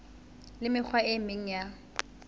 le mekgwa e meng ya